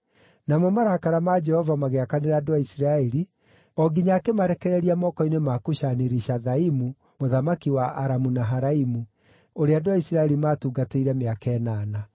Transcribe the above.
Namo marakara ma Jehova magĩakanĩra andũ a Isiraeli o nginya akĩmarekereria moko-inĩ ma Kushani-Rishathaimu mũthamaki wa Aramu-Naharaimu, ũrĩa andũ a Isiraeli maatungatĩire mĩaka ĩnana.